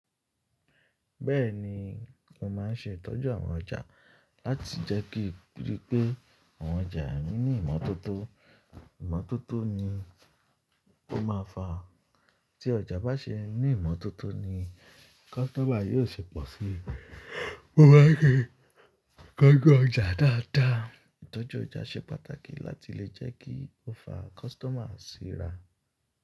Bẹ́ẹ̀ni, mo máa ń ṣe ìtọ́jú àwọn ọjà láti jẹ́ kí rí pé àwọn ọjà mí ní ìmọ́tótó. Ìmọ́tótó ni ó máa fa. Tí ọjà bá ṣe ní ìmọ́tótó ni customer yóò ṣe pọ̀ sí i. Mo máa n ṣe ìtọ́jú ọjà dáadáa. Ìtọ́jú ọjà ṣe pàtàkì láti lè jẹ́ kí ó fa customer sí ra.